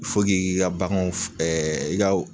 i k'i ka baganw i ka o